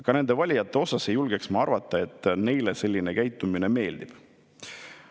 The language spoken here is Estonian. Ka nende valijate kohta ei julgeks ma arvata, et neile selline käitumine meeldib.